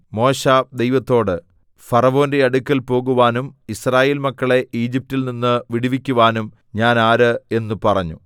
മോശെ ദൈവത്തോട് ഫറവോന്റെ അടുക്കൽ പോകുവാനും യിസ്രായേൽ മക്കളെ ഈജിപ്റ്റിൽ നിന്ന് വിടുവിക്കുവാനും ഞാൻ ആര് എന്ന് പറഞ്ഞു